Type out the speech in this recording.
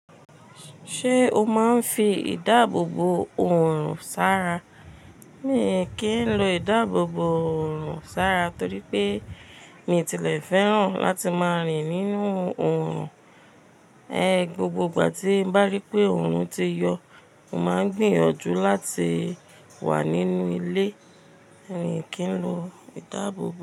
Ṣé o máa ń fi ìdáàbòbò òrùn sara? Mi kì í lo ìdáàbòbò òrùn sára torí pé mi tilẹ̀ fẹ́ràn láti máa rìn nínú òrùn. E, gbogbo ìgbà tí bá rí pé òrùn ti yọ, mo máa ń gbìyànjú láti wà nínú ilé. Mi kì í lo ìdáàbòbò.